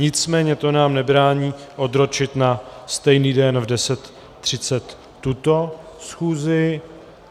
Nicméně to nám nebrání odročit na stejný den v 10.30 tuto schůzi.